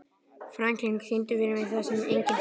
Franklin, syngdu fyrir mig „Það sem enginn sér“.